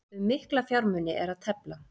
Um mikla fjármuni er að tefla